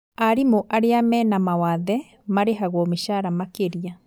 Arimu a aria mena mawathe marĩhagwo mĩcara makĩria